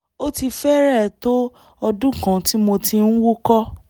ó ti fẹ́rẹ̀ẹ́ tó ọdún kan tí mo ti ń wúkọ́